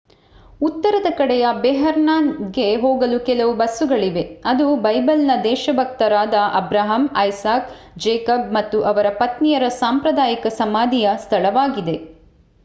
ಉತ್ತರದ ಕಡೆಯ ಹೆಬ್ರಾನ್ನಿಗೆ ಹೋಗಲು ಕೆಲವು ಬಸ್ಸುಗಳಿವೆ ಅದು ಬೈಬಲಿನ ದೇಶಭಕ್ತರಾದ ಅಬ್ರಾಹಂ ಐಸಾಕ್ ಜೇಕಬ್ ಮತ್ತು ಅವರ ಪತ್ನಿಯರ ಸಾಂಪ್ರದಾಯಿಕ ಸಮಾಧಿಯ ಸ್ಥಳವಾಗಿದೆ